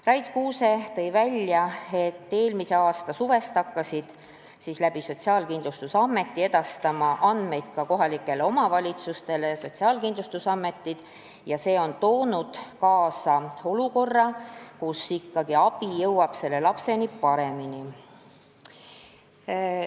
Rait Kuuse ütles, et eelmise aasta suvest hakkas Sotsiaalkindlustusamet edastama andmeid ka kohalikele omavalitsustele ja see on toonud kaasa olukorra, kus abi jõuab lapseni paremini.